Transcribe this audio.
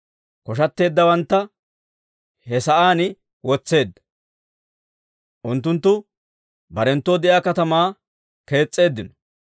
Kosheteeddawantta he sa'aan wotseedda; unttunttu barenttoo de'iyaa katamaa kees's'eeddino.